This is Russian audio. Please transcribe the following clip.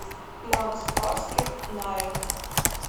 макс барских найт